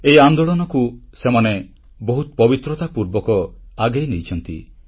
ଏହି ଆନ୍ଦୋଳନକୁ ସେମାନେ ବହୁତ ପବିତ୍ରତା ପୂର୍ବକ ଆଗେଇ ନେଇଛନ୍ତି